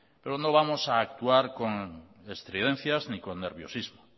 pero no vamos a actuar con estridencias ni con nerviosismo